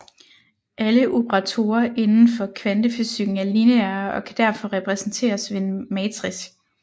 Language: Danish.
Alle operatorer inden for kvantefysikken er lineære og kan derfor repræsenteres ved en matrix